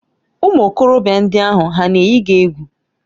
Ụmụ okorobịa ndị ahụ hà na-eyi gị egwu?